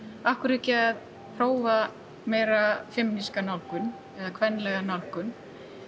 af hverju ekki að prófa meira nálgun eða kvenlega nálgun